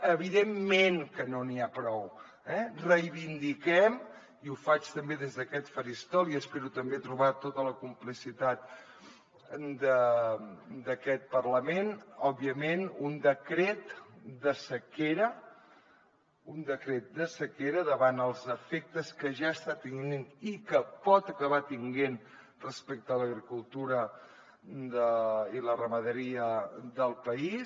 evidentment que no n’hi ha prou eh reivindiquem i ho faig també des d’aquest faristol i espero també trobar tota la complicitat d’aquest parlament òbviament un decret de sequera un decret de sequera davant els efectes que ja està tenint i que pot acabar tenint respecte a l’agricultura i la ramaderia del país